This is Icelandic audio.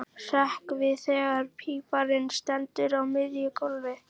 Hrekk við þegar píparinn stendur á miðju gólfi.